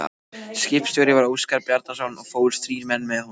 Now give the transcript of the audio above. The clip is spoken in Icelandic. Skipstjóri var Óskar Bjarnason og fórust þrír menn með honum.